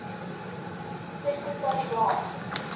sekretariaat